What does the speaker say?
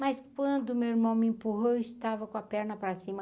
Mas quando meu irmão me empurrou, eu estava com a perna para cima,